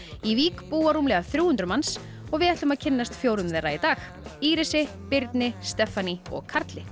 í Vík búa rúmlega þrjú hundruð manns við ætlum að kynnast fjórum þeirra í dag Írisi Birni Stephanie og Karli